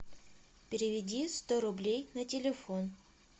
переведи сто рублей на телефон